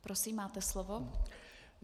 Prosím, máte slovo.